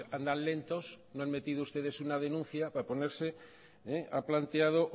andan lentos o han metido ustedes una denuncia para ponerse ha planteado